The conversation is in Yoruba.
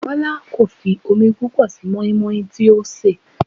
Bọlá kò fi omi púpọ̀ sí moi moi tí ó ń sè.